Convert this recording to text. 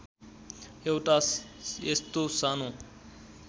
एउटा यस्तो सानो